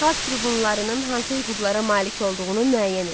Xalq tribunlarının hansı hüquqlara malik olduğunu müəyyən eləyin.